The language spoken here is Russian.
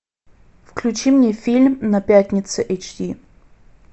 включи мне фильм на пятнице эйч ди